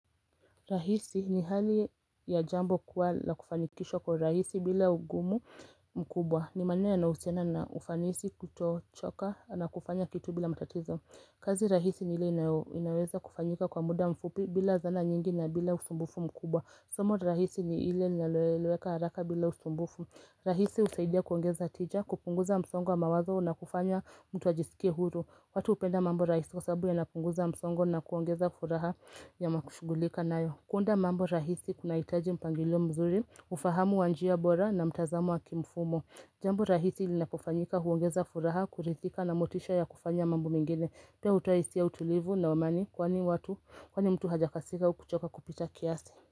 Rahisi ni hali ya jambo kuwa la kufanikishwa kwa rahisi bila ugumu mkubwa ni manena yaohusiana na ufanisi kutochoka na kufanya kitu bila matatizo kazi rahisi ni ile inaweza kufanyika kwa muda mfupi bila zana nyingi na bila usumbufu mkubwa Somo rahisi ni ile naloeleweka haraka bila usumbufu rahisi husaidia kuongeza tija kupunguza msongo wa mawazo na kufanya mtu ajisikie huru watu hupenda mambo rahisi kwa sababu yanapunguza msongo na kuongeza furaha ya makushugulika nayo kuunda mambo rahisi kunahitaji mpangio mzuri, ufahamu wa njia bora na mtazamo wa kimfumo Jambo rahisi linapofanyika huongeza furaha, kurithika na motisha ya kufanya mambo mengine Pia utahisi ya utulivu na wa amani kwani watu, kwani mtu hajakasika kuchoka kupita kiasi.